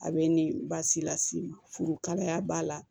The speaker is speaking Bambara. A bɛ ni baasi lasi furukalaya b'a la